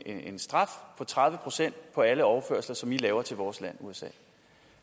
en straf på tredive procent på alle overførsler som i laver til vores land usa